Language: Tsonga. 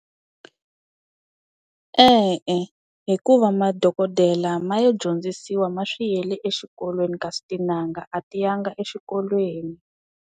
E-e, hikuva madokodela ma lo dyondzisiwa ma swi yele exikolweni kasi tin'anga a ti ya nga exikolweni.